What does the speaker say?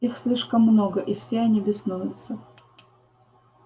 их слишком много и все они беснуются